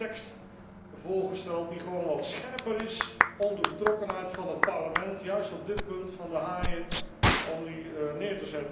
Ik heb een tekst voorgesteld die gewoon wat scherper is om de betrokkenheid van het Parlement juist op dit punt van de haaien te onderstrepen.